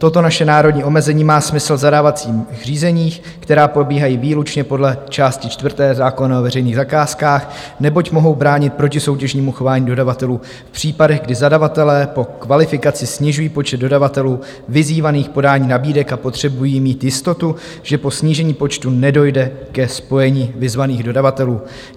Toto naše národní omezení má smysl v zadávacích řízeních, která probíhají výlučně podle části čtvrté zákona o veřejných zakázkách, neboť mohou bránit protisoutěžnímu chování dodavatelů v případech, kdy zadavatelé po kvalifikaci snižují počet dodavatelů vyzývaných k podání nabídek a potřebují mít jistotu, že po snížení počtu nedojde ke spojení vyzvaných dodavatelů.